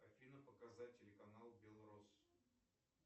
афина показать телеканал белрос